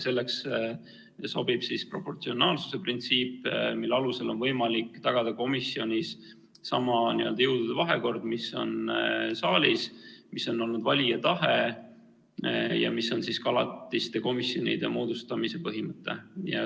Selleks sobib proportsionaalsuse printsiip, mille alusel on võimalik tagada komisjonis sama n-ö jõudude vahekord, mis on saalis, mis on olnud valija tahe ja mis on ka alatiste komisjonide moodustamise põhimõte.